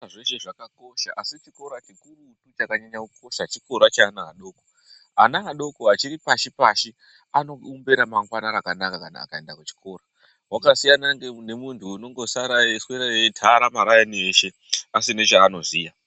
Pazveshe zvakakosha asi zvikurutu chakanyanyokosha chikora chevana vadoko vachiri pashi pashi anoumba ramangwana rakanaka kana akaenda kuchikora vakasiyana nemuntu anosara eitara maraini eshe asina chanoziya.